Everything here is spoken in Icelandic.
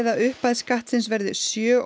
að upphæð skattsins verði sjö